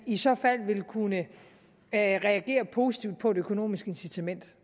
i så fald vil kunne reagere positivt på et økonomisk incitament